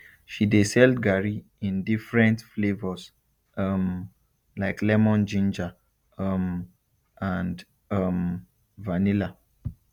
she dey sell garri in different flavours um like lemon ginger um and um vanilla